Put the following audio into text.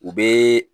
U bɛ